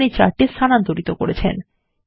আপনি চার্টটি স্থানান্তর করেছেন